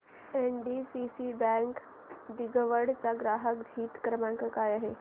NDCC bank दिघवड चा ग्राहक हित क्रमांक काय आहे